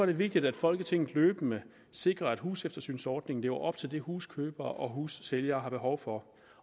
det vigtigt at folketinget løbende sikrer at huseftersynsordningen lever op til det huskøbere og hussælgere har behov for